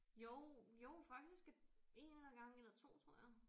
Jo jo faktisk 1 eller gange eller 2 tror jeg